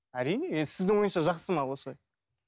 әрине енді сіздің ойыңызша жақсы ма осы